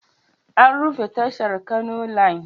An rufe tashar Kano Line.